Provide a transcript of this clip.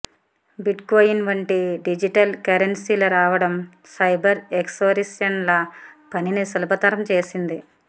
bitcoin వంటి digital కరెన్సీల రావడం సైబర్ ఎక్సోరిషనిస్ట్ల పనిని సులభతరం చేసింది